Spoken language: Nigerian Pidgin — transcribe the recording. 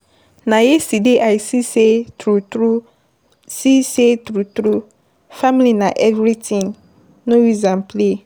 Na yesterday I see sey true-true, see say true true family na everytin. No use am play.